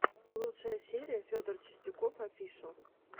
лучшая серия федор чистяков офишал